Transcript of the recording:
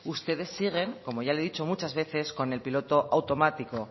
ustedes siguen como ya le he dicho muchas veces con el piloto automático